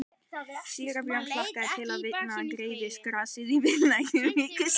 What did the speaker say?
Síra Björn hlakkaði til að sjá vindinn greiða grasið í víðlendu ríki sínu.